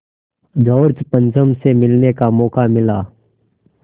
George पंचम से मिलने का मौक़ा मिला